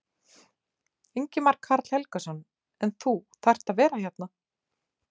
Ingimar Karl Helgason: En þú þarft að vera hérna?